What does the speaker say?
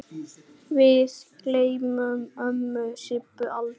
Við gleymum ömmu Sibbu aldrei.